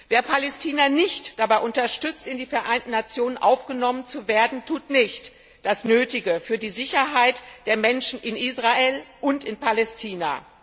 Wer Palästina nicht dabei unterstützt, in die Vereinten Nationen aufgenommen zu werden, tut nicht das Nötige für die Sicherheit der Menschen in Israel und in Palästina.